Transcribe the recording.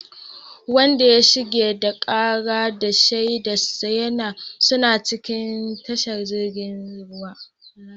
Wanda ya shigar da karar da shaidarsa suna cikin tashar jirgin ruwa